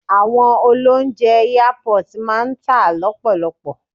Àwọn oloúnjẹ airport máa ń tà lọ́pọ̀lọpọ.